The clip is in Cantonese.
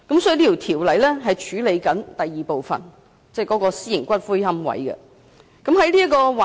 這項《條例草案》是處理上述第二項訴求，即規範私營龕場。